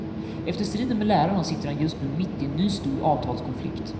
Efter striden med lärarna sitter han just nu mitt i en ny stor avtalskonflikt.